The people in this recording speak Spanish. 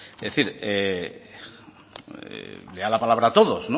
es decir lea la palabra todos